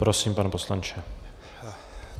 Prosím, pane poslanče.